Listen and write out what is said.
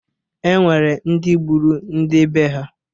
E nwere ndị gburu ndị bee ha.